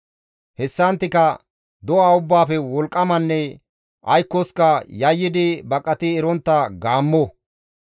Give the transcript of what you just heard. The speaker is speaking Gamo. Hessanttika do7a ubbaafe wolqqamanne aykkoska yayyidi baqati erontta gaammo.